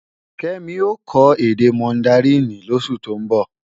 Kẹ́mi ó kọ́ èdè mọndaríìnì lósù tó ń bọ̀.